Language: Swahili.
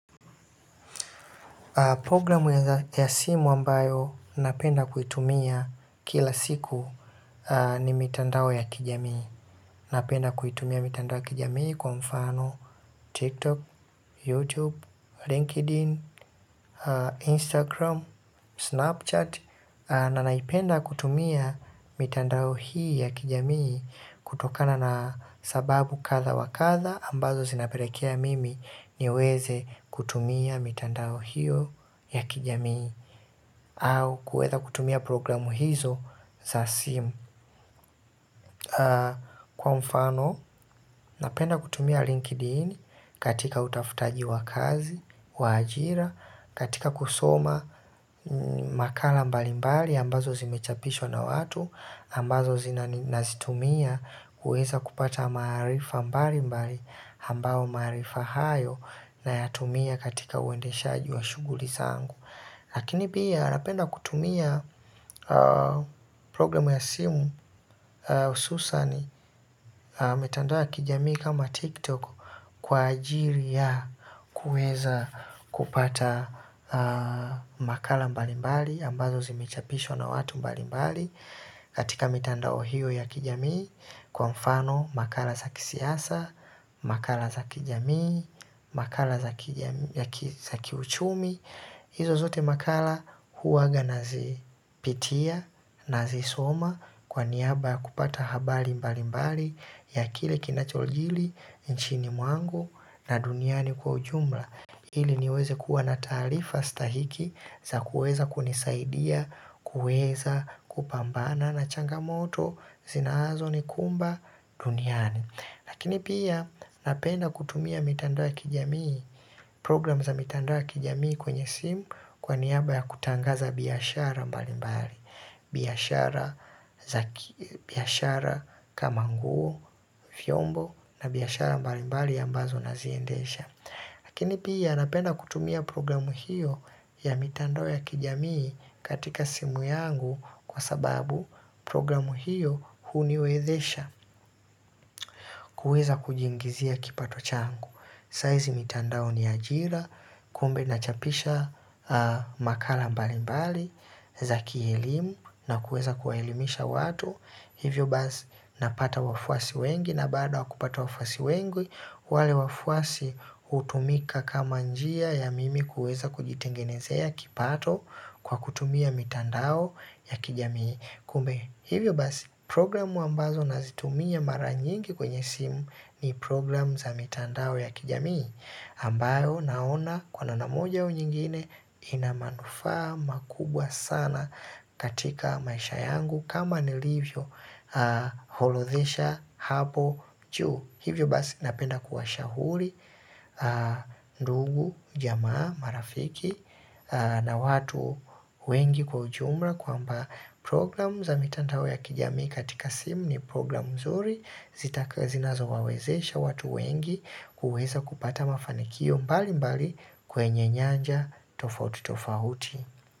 Programu ya simu ambayo napenda kuitumia kila siku ni mitandao ya kijamii, napenda kuitumia mitandao ya kijamii kwa mfano tiktok, youtube, linkedin, Instagram, snapchat na naipenda kutumia mitandao hii ya kijamii kutokana na sababu kadha wa kadha ambazo zinapelekea mimi niweze kutumia mitandao hio ya kijamii au kuweza kutumia programu hizo za simu. Kwa mfano, napenda kutumia linkedin katika utafutaji wa kazi, wa ajira, katika kusoma makala mbali mbali ambazo zimechapishwa na watu, ambazo nazitumia kuweza kupata maarifa mbali mbali ambayo maarifa hayo na yatumia katika uendeshaji wa shughuli zangu. Lakini pia napenda kutumia programu ya simu hususan mitandao ya kijami kama tiktok kwa ajiri ya kueza kupata makala mbalimbali ambazo zimechapishwa na watu mbalimbali katika mitandao hio ya kijamii, kwa mfano makala za kisiasa, makala za kijamii, makala za kijamii, ya kiuchumi. Izo zote makala huwaga nazipitia, nazisoma kwa niaba ya kupata habari mbali mbali ya kile kinachojili, nchini mwangu na duniani kwa ujumla ili niweze kuwa na taarifa stahiki za kuweza kunisaidia kuweza kupambana na changamoto zinazo nikumba duniani lakini pia napenda kutumia mitandao ya kijamii, program za mitandao ya kijamii kwenye simu kwa niaba ya kutangaza biashara mbali mbali. Biashara kama nguo, vyombo na biashara mbali mbali ambazo naziendesha. Lakini pia napenda kutumia programu hiyo ya mitandao ya kijamii katika simu yangu kwa sababu programu hiyo huniwezesha kuweza kujiingizia kipato changu. Sahizi mitandao ni ajira, kumbe na chapisha makala mbali mbali za kielimu na kuweza kuwaelimisha watu hivyo basi napata wafuasi wengi na baada ya kupata wafuasi wengi, wale wafuasi hutumika kama njia ya mimi kuweza kujitengenezea kipato kwa kutumia mitandao ya kijamii. Kumbe hivyo basi programu ambazo nazitumia mara nyingi kwenye simu ni programu za mitandao ya kijamii ambayo naona kwa namna moja au nyingine ina manufaa makubwa sana katika maisha yangu kama nilivyo orodhesha hapo juu, hivyo basi napenda ku washauri ndugu, jamaa, marafiki na watu wengi kwa ujumla, kwamba program za mitandao ya kijamii katika simu ni program nzuri zitaka, zinazo wawezesha watu wengi kuweza kupata mafanikio mbali mbali kwenye nyanja tofauti tofauti.